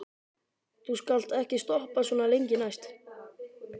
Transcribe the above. Þú skalt ekki stoppa svona lengi næst.